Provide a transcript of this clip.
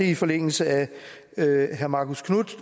i forlængelse af herre marcus knuths